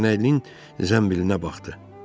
Dəyənəklinin zənbilinə baxdı.